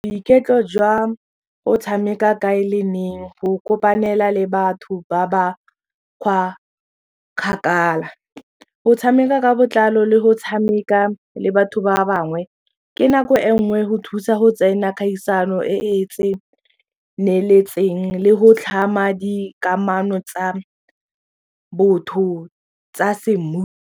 Boiketlo jwa go tshameka kae le neng go kopanela le batho ba ba kwa kgakala go tshameka ka botlalo le go tshameka le batho ba ba bangwe ke nako e nngwe go thusa go tsena kgaisano e e tseneletseng le go tlhama dikamano tsa botho tsa .